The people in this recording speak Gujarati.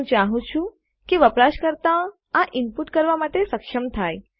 હું ચાહું છું કે વપરાશકર્તા આ ઇનપુટ કરવા માટે સક્ષમ થાય